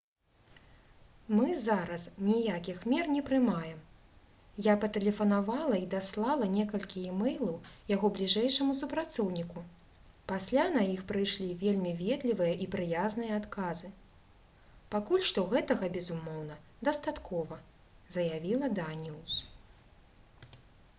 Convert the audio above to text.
«мы зараз ніякіх мер не прымаем. я патэлефанавала і даслала некалькі імэйлаў яго бліжэйшаму супрацоўніку пасля на іх прыйшлі вельмі ветлівыя і прыязныя адказы. пакуль што гэтага безумоўна дастаткова» — заявіла даніус